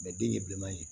den ye bileman ye